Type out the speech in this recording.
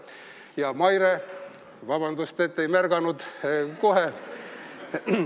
Ja Maire – vabandust, et ei märganud kohe!